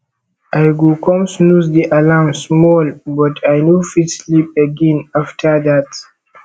i go come snooze di alarm small but i no fit sleep again after that